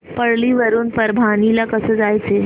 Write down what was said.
परळी वरून परभणी ला कसं जायचं